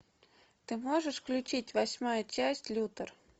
ты можешь включить восьмая часть лютер